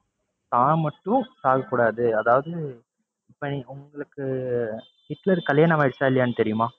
தான் மட்டும் சாகக்கூடாது. அதாவது இப்~ உங்களுக்கு ஹிட்லருக்கு கல்யாணம் ஆகிருச்சா, இல்லையான்னு தெரியுமா?